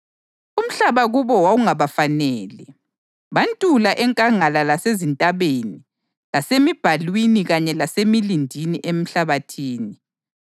umhlaba kubo wawungabafanele. Bantula enkangala lasezintabeni lasezimbalwini kanye lasemilindini emhlabathini.